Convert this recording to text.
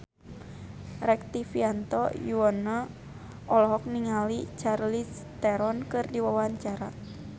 Rektivianto Yoewono olohok ningali Charlize Theron keur diwawancara